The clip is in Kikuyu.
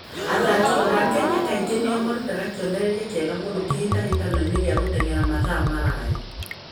Athaki a Kenya kaingĩ nĩo marutaga kĩonereria kĩega mũno kĩhĩtahĩtano-inĩ gĩa gũteng'era mathaa maraya.